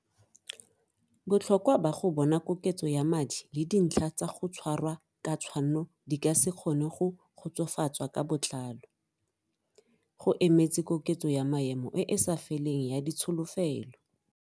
Botlhokwa ba go bona koketso ya madi le dintlha tsa go tshwarwa ka tshwanno di ka se kgone go kgotsofatswa ka botlalo. Go emetse koketso ya maemo e e sa feleng ya ditsholofelo.